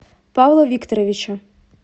павла викторовича